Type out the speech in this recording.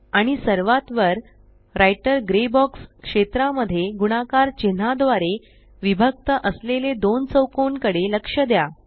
आणि सर्वात वर राइटर ग्रे बॉक्स क्षेत्रा मध्ये गुणाकार चिन्हाद्वारे विभक्त असलेले दोन चौकोन कडे लक्ष द्या